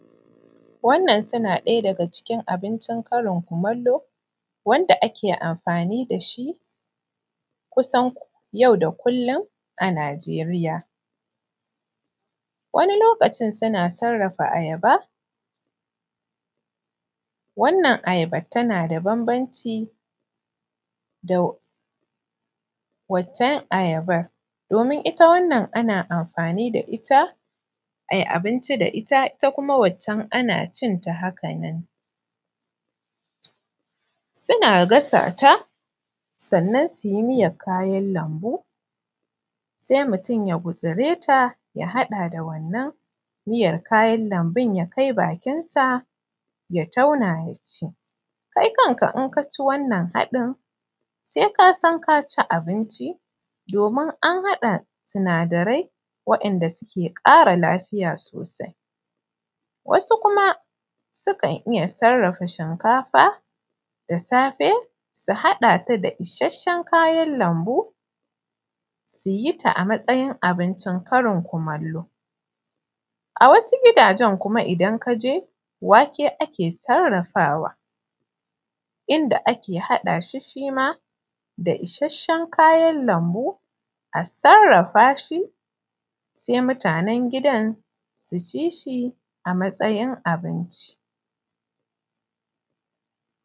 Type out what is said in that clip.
Wannan suna ɗaya daga cikin karin kumallo wanda ake amfani da shi kusan yau da kullun a Najeriya, wani lokacin suna sarrafa ayaba wannan ayaban tana da bambanci da wancan ayaban domin ita wannan ana amfani da ita a ci abinci da ita wannan kuma ana cin ta haka nan suna gasa ta sai mutun ya gutsure ta ya haɗa da wannan miyar na kayan lambu. Mutun ya kai bakin sa ya tauna ya ci kai kanka idan ka ci wannan haɗin sai ka san ka ci abinci domin an haɗa sinadarai waɗanda suke ƙara lafiya sosai. Wasu kuma da safe su haɗa ta da isasshen kayan lambu su ci a matsayin karin kumallo, a wasu gidajen idan ka je wake ake sarrafawa shi ma a haɗa shi da isasshen kayan lambu sai mutanen gidaan su ci shi a matsayin abinci.